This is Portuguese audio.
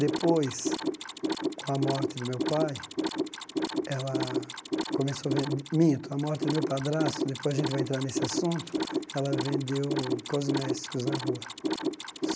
Depois, com a morte do meu pai, ela começou a ven... Minto, a morte do meu padrasto, depois a gente vai entrar nesse assunto, ela vendeu cosméticos na rua.